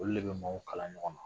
Olu de bɛ maaw kala ɲɔgɔn na